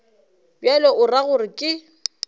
bjalo o ra gore ke